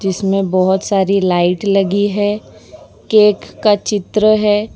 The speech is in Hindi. इसमें बहोत सारी लाइट लगी है केक का चित्र है।